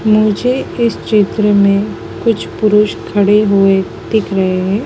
मुझे इस चित्र में कुछ पुरुष खड़े हुए दिख रहे है।